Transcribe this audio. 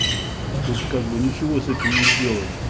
тут как бы ничего с этим не сделать